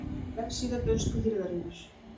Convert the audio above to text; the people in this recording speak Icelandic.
Vefsíða dönsku hirðarinnar